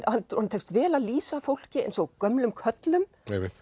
honum tekst vel að lýsa fólki eins og gömlum körlum